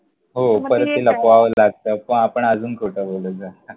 हो परत ते लपवावं लागतं, मग आपण अजून खोटं बोलत जातो.